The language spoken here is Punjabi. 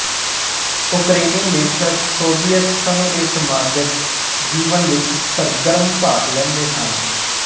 ਉਕਰੇਨੀ ਲੇਖਕ ਸੋਵਿਅਤ ਸੰਘ ਦੇ ਸਾਮਾਜਕ ਜੀਵਨ ਵਿੱਚ ਸਰਗਰਮ ਭਾਗ ਲੈਂਦੇ ਹਨ